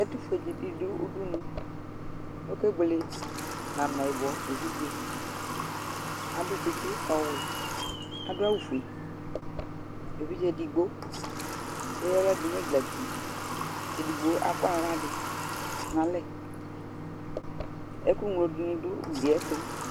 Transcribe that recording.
Ɛtʋfue dι dʋ udunu Oke buele nʋ amɛyιbɔ evidze, atʋ tsιtsι ɔɔwɛ, kʋ adʋ awʋ fue, evidze edigbo eya apla dʋ nʋ ɛgla ti kʋ edigbo akɔ aɣla dʋ nʋ alɛ, Ɛkʋ ŋlo dιnι dʋ ugli yɛ ɛtʋ